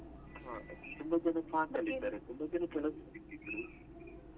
ಹಾ ತುಂಬಾ ಜನ class ಅಲ್ಲಿ ಇದ್ದಾರೆ ತುಂಬಾ ಜನ ಕೆಲಸದಲ್ಲಿ ಇದ್ರು.